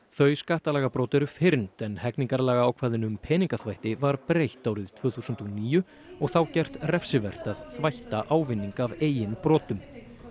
þau skattalagabrot eru fyrnd en hegningarlagaákvæðinu um peningaþvætti var breytt árið tvö þúsund og níu og þá gert refsivert að þvætta ávinning af eigin brotum